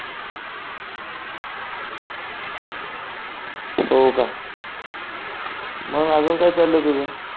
हो का मग अजून काय चाललंय तुझं